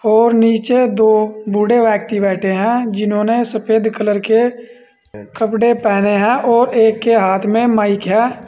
और नीचे दो बूढ़े व्यक्ति बैठे हैं जिन्होंने सफेद कलर के कपड़े पहने हैं और एक के हाथ में माइक है।